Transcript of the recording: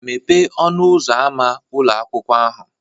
Mepee ọnụ ụzọ ámá ụlọ akwụkwọ ahụ